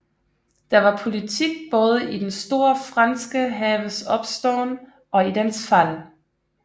Der var politik både i den store franske haves opståen og i dens fald